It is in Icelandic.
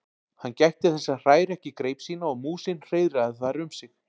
Hann gætti þess að hræra ekki greip sína og músin hreiðraði þar um sig.